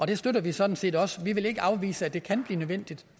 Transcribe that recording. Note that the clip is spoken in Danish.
det støtter vi sådan set også vi vil ikke afvise at det kan blive nødvendigt